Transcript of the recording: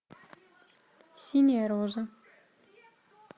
синяя рожа